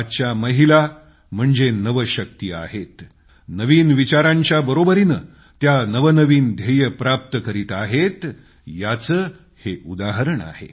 आजच्या महिला म्हणजे नवशक्ती आहेत नवीन विचारांच्या बरोबरीने त्या नवनवीन लक्ष्यं प्राप्त करीत आहेत याचं हे उदाहरण आहे